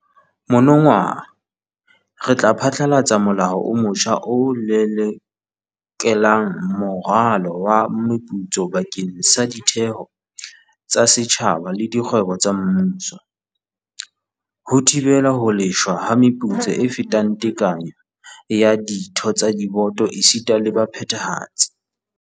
Monongwaha re tla phatlalatsa molao o motjha o lelekelang moralo wa meputso bakeng sa ditheo tsa setjhaba le dikgwebo tsa mmuso, ho thibela ho lefshwa ha meputso e fetang tekanyo ya ditho tsa diboto esita le baphethahatsi.